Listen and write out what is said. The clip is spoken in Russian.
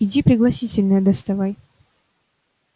иди пригласительные доставай